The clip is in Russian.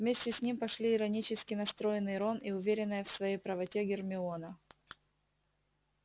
вместе с ним пошли иронически настроенный рон и уверенная в своей правоте гермиона